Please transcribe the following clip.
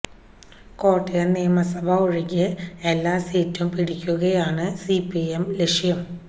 കോട്ടയം നിയമസഭ ഒഴികെ എല്ലാ സീറ്റും പിടിക്കുകയാണ് സിപിഎം ലക്ഷ്യം